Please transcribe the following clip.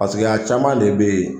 Paseke a caman de bɛ ye